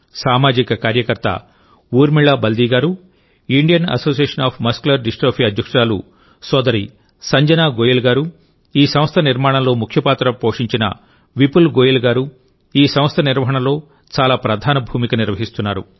సామాజిక కార్యకర్త ఊర్మిళ బల్దీ గారు Indian association of muscular dystrophy అధ్యక్షురాలు సోదరి సంజనా గోయల్ గారు ఈ సంస్థ నిర్మాణంలో ముఖ్యపాత్ర పోషించిన విపుల్ గోయల్ గారు ఈ సంస్థ నిర్వహణలో చాలా ప్రధాన భూమిక నిర్వహిస్తున్నారు